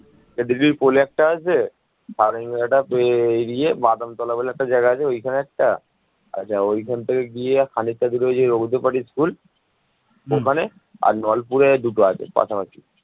স্বাধীনতার পর নতুন রাষ্ট্রটি দুর্ভিক্ষ প্রাকৃতিক দুর্যোগ ব্যাপক দারিদ্র্য রাজনৈতিক অস্থিরতা এবং সামরিক অভ্যুত্থানের মত অসংখ্য সমস্যার মুখোখুখি হয়